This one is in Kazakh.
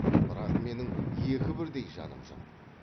бірақ менің екі бірдей жаным жоқ